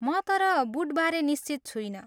तर म बुटबारे निश्चित छुइनँ।